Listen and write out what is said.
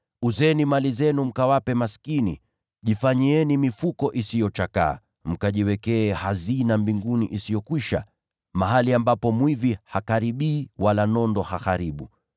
Uzeni mali zenu mkawape maskini. Jifanyieni mifuko isiyochakaa, mkajiwekee hazina mbinguni isiyokwisha, mahali ambapo mwizi hakaribii wala nondo haharibu.